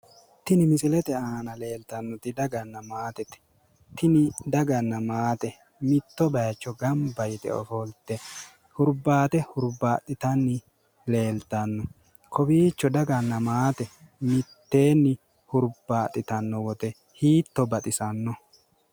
Tini misilete aana leeltannoti daganna maatete tini daganna maate mitto baayiicho gamba yite ofolte hurbaate hurbaaxxitanni leeltanno kowiicho daganna maate mitteenni hurbaaxxitanno woyte hiitto baxisanno.